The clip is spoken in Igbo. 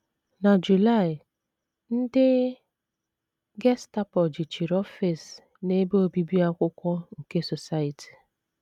Na July, ndị Gestapo jichiri ọfịs na ebe obibi akwụkwọ nke Society.